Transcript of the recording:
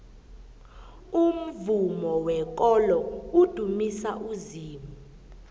umvumo wekolo udumisa uzimu